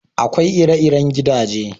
Akwai ire-iren gidaje.